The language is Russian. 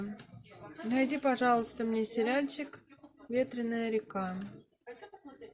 найди пожалуйста мне сериальчик ветряная река